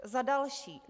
Za další.